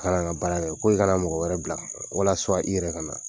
Kan ka baara min kɛ k'o kana mɔgɔ wɛrɛ bila walasa i yɛrɛ ka na.